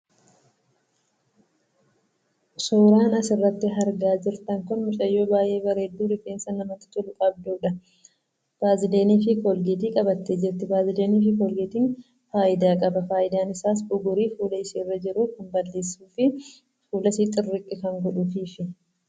Suuraan asirratti argaa jirtan kun mucayyoo baay'ee bareedduu rifeensa bamatti tolu qabduudha. 'Vaazeliinii' fi 'koolgeetii' qabattee jirti. 'Vaazeliinii' fi 'koolkeetii'n faayidaa qaba. Faayidaan isaas: bugurii fuula ishee irra jiru kan balleessuudha.